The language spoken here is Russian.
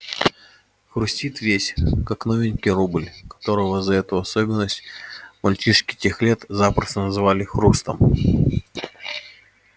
хрустит весь как новенький рубль которого за эту особенность мальчишки тех лет запросто называли хрустом